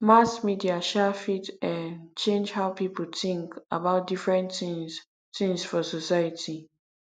mass media um fit um change how people think about different things things for society